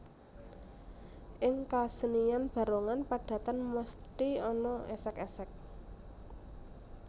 Ing kasenian barongan padatan mesthi ana esek esek